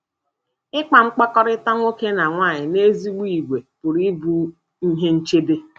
Ịkpa mkpakọrịta nwoke na nwaanyị n'ezigbo ìgwè pụrụ ịbụ ihe nchebe.